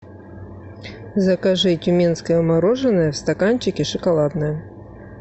закажи тюменское мороженое в стаканчике шоколадное